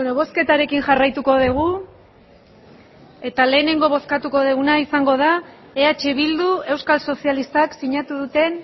bozketarekin jarraituko dugu eta lehenengo bozkatuko duguna izango da eh bildu euskal sozialistak sinatu duten